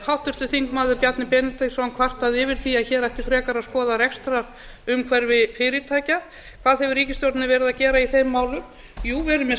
háttvirtur þingmaður bjarni benediktsson kvartaði yfir því að hér ætti frekar að skoða rekstrarumhverfi fyrirtækja hvað hefur ríkisstjórnin verið að gera í þeim málum jú við erum með